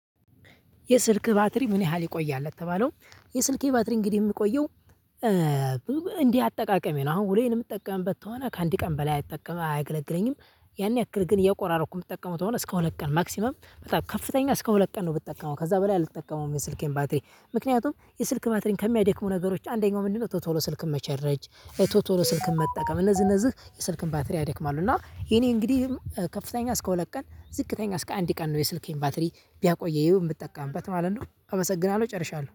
የስልክ ባትሪ ምን ያህል ይቆያል? ለተባለው የስልኬ ባትሪ እንግዲህ የምቆየው እ እንደ አጠቃቀሜ ነው አሁን ውሎዬን የምጠቀመበት ከሆነ ከአንድ ቀን በላይ አይጠቀምም አያገለግለኝም። ያን ያክል ግን እየቆራረኩ የምትጠቀመው ከሆነ እስከ ሁለት ቀን ማክሲመም በጣም ከፍተኛ እስከ ሁለት ቀን ነው። ብትጠቀመው ከዛ በላይ አልተጠቀመውም የስልኬን ባትሪ ምክንያቱም የስልክ ባትሪን ከሚያደክሙ ነገሮች አንደኛው ምንድነው? ቶሎ ቶሎ ስልክ መቸረጅ ቶቶሎ ስልክን መጠቀም እነዚህ እነዚህ የስልክን ባትሪ አደክማለሁ። እና የኔ እንግዲህ ከፍተኛ እስከ ሁለት ቀን ዝቅተኛ እስከ አንድ ቀን ነው። የስልኬን ባትሪ ቢያቆይ የምትጠቀምበት ማለት ነው አመሰግናለሁ። ጨርሻለሁ።